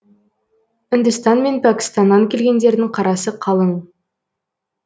үндістан мен пәкістаннан келгендердің қарасы қалың